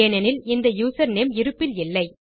ஏனெனில் இந்த யூசர்நேம் இருப்பில் இல்லை